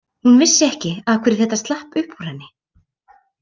Hún vissi ekki af hverju þetta slapp upp úr henni.